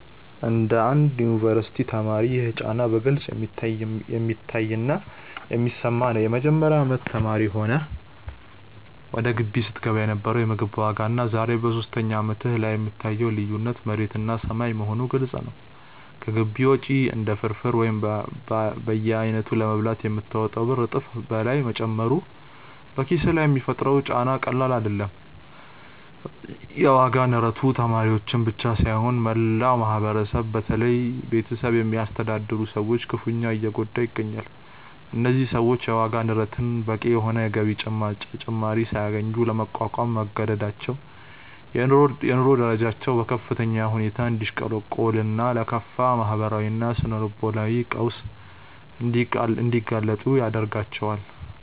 እንደ አንድ የዩኒቨርሲቲ ተማሪ ይህ ጫና በግልጽ የሚታይና የሚሰማ ነው። የመጀመሪያ አመት ተማሪ ሆነህ ወደ ግቢ ስትገባ የነበረው የምግብ ዋጋና ዛሬ በሶስተኛ አመትህ ላይ የምታየው ልዩነት መሬትና ሰማይ መሆኑ ግልጽ ነው። ከግቢ ውጪ አንድ ፍርፍር ወይም በየአይነቱ ለመብላት የምታወጣው ብር እጥፍ በላይ መጨመሩ በኪስህ ላይ የሚፈጥረው ጫና ቀላል አይደለም። የዋጋ ንረቱ ተማሪዎችን ብቻ ሳይሆን መላውን ማህበረሰብ በተለይም ቤተሰብ የሚያስተዳድሩ ሰዎችን ክፉኛ እየጎዳ ይገኛል። እነዚህ ሰዎች የዋጋ ንረቱን በቂ የሆነ የገቢ ጭማሪ ሳያገኙ ለመቋቋም መገደዳቸው የኑሮ ደረጃቸው በከፍተኛ ሁኔታ እንዲያሽቆለቁልና ለከፋ ማህበራዊና ስነ-ልቦናዊ ቀውስ እንዲጋለጡ ያደርጋቸዋል።